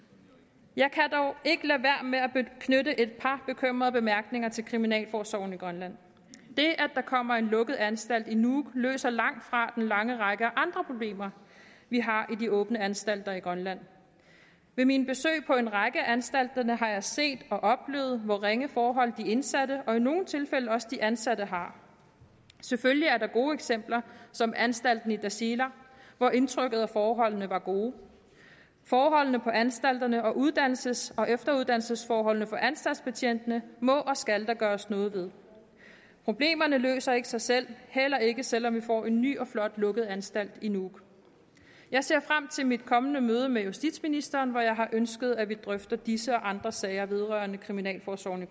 jeg kan at knytte et par bekymrede bemærkninger til kriminalforsorgen i grønland det at der kommer en lukket anstalt i nuuk løser langtfra den lange række af andre problemer vi har i de åbne anstalter i grønland ved mine besøg på en række af anstalterne har jeg set og oplevet hvor ringe forhold de indsatte og i nogle tilfælde også de ansatte har selvfølgelig er der gode eksempler som anstalten i tasiilaq hvor indtrykket af forholdene var gode forholdene på anstalterne og uddannelses og efteruddannelsesforholdene for anstaltsbetjentene må og skal der gøres noget ved problemerne løser ikke sig selv heller ikke selv om vi får en ny og flot lukket anstalt i nuuk jeg ser frem til mit kommende møde med justitsministeren hvor jeg har ønsket at vi drøfter disse og andre sager vedrørende kriminalforsorgen